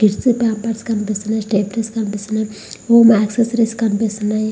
Kids వి pampers కనిపిస్తునాయి stay free కనిపిస్తునాయి. యాక్సెసరీస్ కనిపిస్తునాయి.